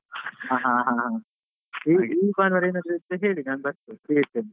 ಹ ಹ ಹಾ ಈ ಭಾನುವಾರ ಏನಾದ್ರು ಇದ್ರೆ ಹೇಳಿ ನಾನು ಬರ್ತೇನೆ free ಇದ್ದೇನೆ.